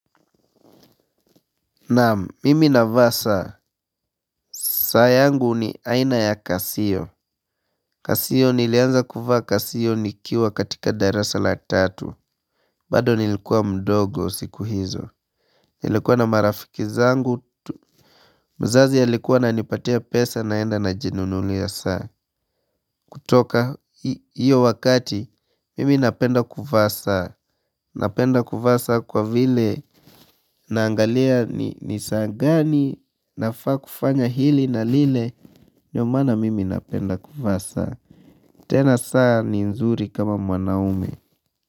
Na mimi na vaa saa saa yangu ni aina ya casio casio nilianza kuvaa casio nikiwa katika darasa la tatu bado nilikuwa mdogo siku hizo nilikua na marafiki zangu tu. Mzazi ya likuwa na nipatia pesa naenda najinunuli ya saa kutoka hiyo wakati mimi napenda kuvaa saa Napenda kuvaa saa kwa vile Naangalia ni nisaa gani nafaa kufanya hili na lile ndio maana mimi napenda kufasa tena saa ni nzuri kama mwanaume.